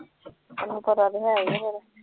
ਨੀ ਫਿਰ